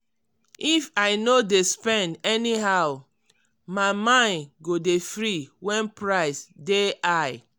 if i no dey spend anyhow my mind go dey free when price dey high.